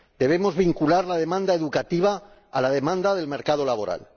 Debemos vincular la demanda educativa a la demanda del mercado laboral.